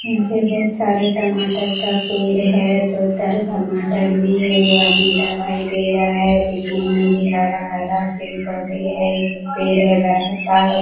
यहाँ पे बहुत तारे टमाटर का पेर है बहुत सारे टमाटर भी है एगो आदमी दवाई दे रहा है देखने मे भी हरा-हरा पेड़-पौधे है पेड़ है बड़ा-सा।